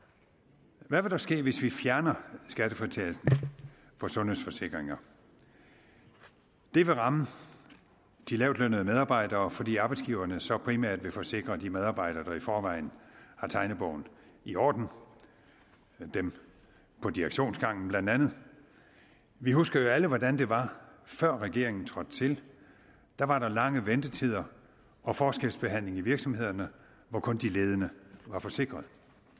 hvad vil der ske hvis vi fjerner skattefritagelsen for sundhedsforsikringer det vil ramme de lavtlønnede medarbejdere fordi arbejdsgiverne så primært vil forsikre de medarbejdere der i forvejen har tegnebogen i orden dem på direktionsgangen blandt andet vi husker jo alle hvordan det var før regeringen trådte til der var der lange ventetider og forskelsbehandling i virksomhederne hvor kun de ledende var forsikret